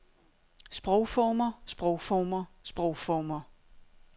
sprogformer sprogformer sprogformer